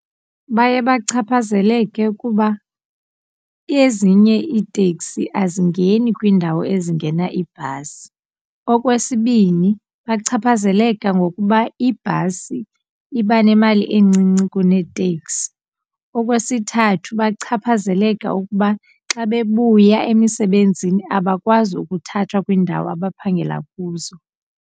Baye bachaphazeleke kuba ezinye iitekisi azingeni kwiindawo ezingena ibhasi, okwesibini bachaphazeleka ngokuba ibhasi iba nemali encinci kunetekisi, okwesithathu bachaphazeleka ukuba xa bebuya emisebenzini abakwazi ukuthathwa kwiindawo abaphangela kuzo.